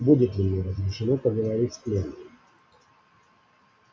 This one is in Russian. будет ли мне разрешено поговорить с пленным